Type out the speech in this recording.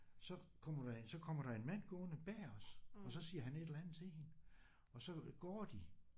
Så kommer der så kommer der en mand gående bag os og så siger han et eller andet til hende og så går de